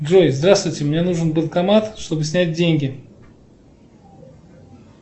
джой здравствуйте мне нужен банкомат чтобы снять деньги